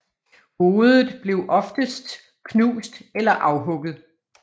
Hovedet blev oftest knust eller afhugget